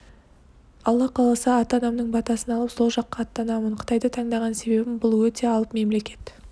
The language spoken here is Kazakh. алла қаласа ата-анамның батасын алып сол жаққа аттанамын қытайды таңдаған себебім бұл өте алып мемлекет